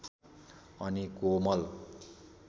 अनि कोमल